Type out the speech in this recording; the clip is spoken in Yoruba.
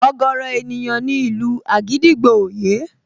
Ọ̀gọ̀ọ̀rọ̀ ènìyàn ni ìlù àgídìgbo ò yé